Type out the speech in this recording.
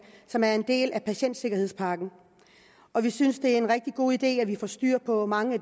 som er en del af patientsikkerhedspakken vi synes det er en rigtig god idé at vi får styr på mange af